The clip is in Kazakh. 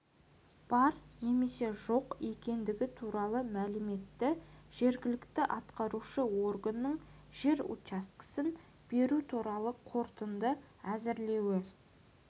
бар немесе жоқ екендігі туралы мәліметті жергілікті атқарушы органның жер учаскесін беру туралы қорытынды әзірлеуі